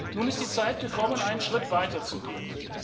Nun ist die Zeit gekommen, einen Schritt weiter zu gehen.